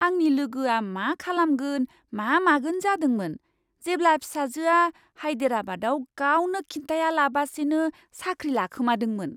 आंनि लोगोआ मा खालामगोन मा मागोन जादोंमोन, जेब्ला फिसाजोआ हायदेराबादआव गावनो खिन्थायालाबासिनो साख्रि लाखोमादोंमोन!